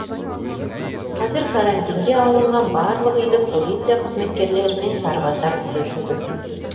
қазір карантинге алынған барлық үйді полиция қызметкерлері мен сарбаздар күзетуде